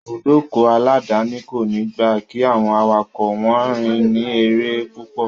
Ìbùdókọ̀ aláàdáni kòní gba kí àwọn awakọ̀ wọn rìn ní eré púpọ̀.